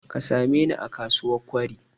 Ka sameni a kasuwar Kwari.